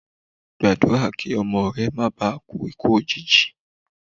Gba àdúrà kí ọmọ rẹ má bà kú ikú òjìji.